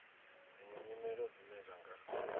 dziṅwe nyimelo dzine dza nga